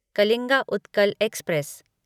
Kalinga Utkal express